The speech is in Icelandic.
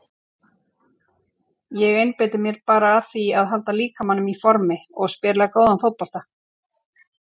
Ég einbeiti mér bara að því að halda líkamanum í formi og spila góðan fótbolta.